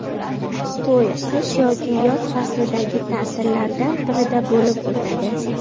To‘y qish yoki yoz fazlidagi ta’tillardan birida bo‘lib o‘tadi.